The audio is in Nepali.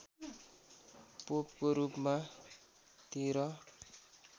पोपको रूपमा १३